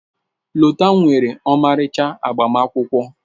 Lota nwere ọmarịcha agbamakwụkwọ.